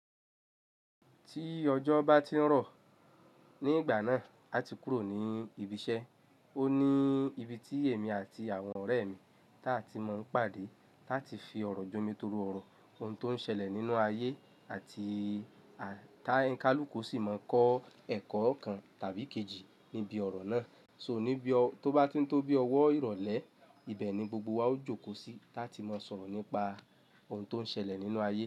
Tí ọjọ́ bá ti ń rọ̀ ní ìgbà náà, a ti kúrò ní ibi iṣẹ́. O ní ibi tí èmi àti àwọn ọ̀rẹ́ mi táa ti máa ń pàdé láti fi ọ̀rọ̀ jomi toro ọ̀rọ̀ ohun tó ń ṣẹlẹ̀ nínú ayé àti tá ń kálùkù sì máa ń kọ́ ẹ̀kọ́ kan tàbí kejì níbi ọ̀rọ̀ náà. So ní bí ó tó bá ti ń tó bí ọwọ́ ìrọ̀lẹ́, ibẹ̀ ni gbogbo wa ó jókòó sí táti máa sọ̀rọ̀ nípa ohun tó ń ṣẹlẹ̀ nínú ayé.